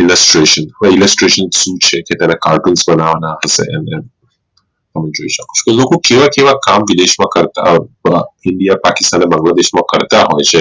illustration illustration શું છે તેમાં cartoons બનવાના હોઈ છે તો લોકો કેવા કેવા કામ વિદેશ માં કરતા india પાકિસ્તાન બાંગ્લાદેશ માં કરતા હોઈ છે